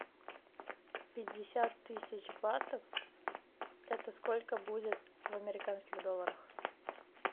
пятьдесят тысяч батов это сколько будет в американских долларах